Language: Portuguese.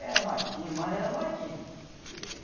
Era matinho, mais era matinho que.